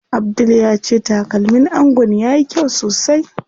Abdul ya ce takalmin angon yayi kyau sosai.